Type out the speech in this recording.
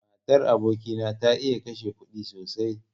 Matar aboki na ta iya kashe kuɗi sosai.